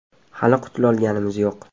Hali qutulolganimiz yo‘q.